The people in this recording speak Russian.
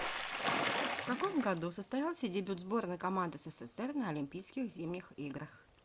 в каком году состоялся дебют сборной команды ссср на олимпийских зимних играх